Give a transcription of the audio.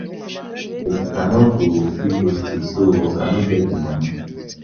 Abeg I no go fit go steal so I no get the money